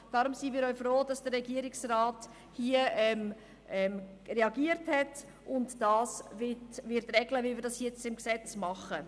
Darum sind wir auch froh, dass der Regierungsrat hier reagiert hat und dies regeln will, so wie wir das jetzt im Gesetz machen.